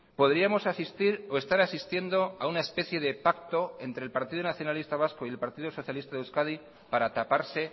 podríamos asistir o estar asistiendo a una especie de pacto entre el partido nacionalista vasco y el partido socialista de euskadi para taparse